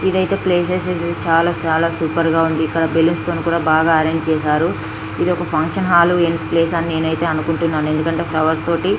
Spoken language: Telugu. ఇదైతే సీజన్ చాలా అంటే చాలా సూపర్ గుంది. ఎక్కడ బెలూన్స్ తో కూడా బాగా అరేంజ్ చేశారు. ఇది ఒక ఫంక్షన్ హాల్ అయితే నేను అనుకుంటున్నాను ఎందుకంటే ఫ్లవర్స్ తోటి --